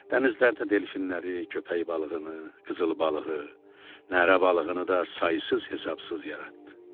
Dənizlərdə delfinləri, köpək balığını, qızıl balığı, nərə balığını da saysız hesabsız yaratdı.